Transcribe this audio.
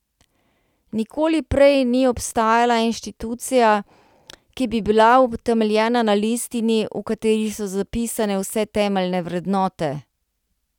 Nikoli prej ni obstajala inštitucija, ki bi bila utemeljena na listini, v kateri so zapisane vse temeljne vrednote.